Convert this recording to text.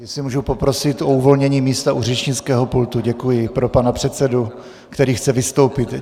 Jestli můžu poprosit o uvolnění místa u řečnického pultu, děkuji, pro pana předsedu, který chce vystoupit.